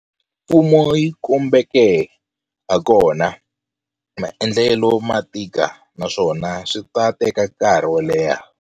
Mfumo yi kombeke hakona, maendlelo ma ta tika naswona swi ta teka nkarhi wo leha.